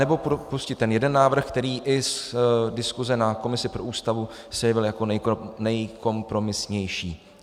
Nebo pustit ten jeden návrh, který i z diskuse na komisi pro Ústavu se jevil jako nejkompromisnější.